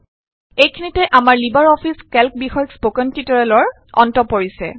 এইখিনিতে আমাৰ LibreOffice Calc বিষয়ক স্পকেন টিউটৰিয়েলৰ অন্ত পৰিছে